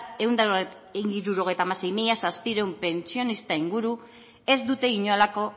ehun eta hirurogeita sei mila zazpiehun pentsionista inguru ez dute inolako